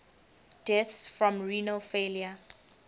deaths from renal failure